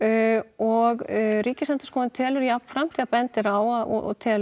og Ríkisendurskoðun telur jafnframt og bendir á og telur